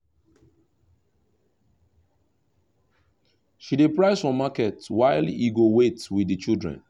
she dey price for market while he go wait with the children